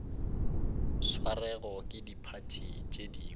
swerwego ke diphathi tše dingwe